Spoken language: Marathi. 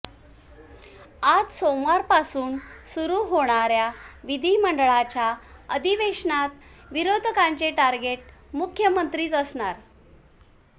आज सोमवारपासून सुरू होणाऱया विधिमंडळाच्या अधिवेशनात विरोधकांचे टार्गेट मुख्यमंत्रीच असणार